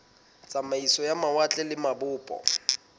tsamaiso ya mawatle le mabopo